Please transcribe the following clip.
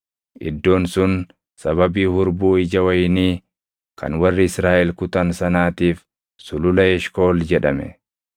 Iddoon sun sababii hurbuu ija wayinii kan warri Israaʼel kutan sanaatiif Sulula Eshkool jedhame.